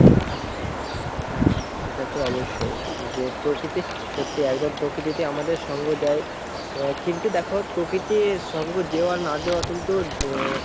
হ্যাঁ সেটা তো অবশ্যই যে প্রকৃতি সত্যি একদম প্রকৃতি আমাদের সঙ্গ দেয় কিন্তু দেখো প্রকৃতির সঙ্গ দেওয়া না দেওয়া কিন্তু আহ,